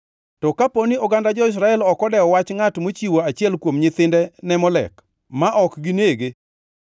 to an awuon ema nabed jasik ngʼatno gi dhoodgi duto. Kargi anangʼad oko kuom ogandagi, kaachiel gi jogo duto maluwe kendo madwanyore kalamo Molek.